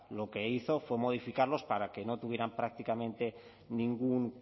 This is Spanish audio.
lo que hizo fue modificarlos para que no tuvieran prácticamente ningún